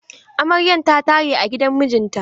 Amaryan ta tare a gidan mijinta.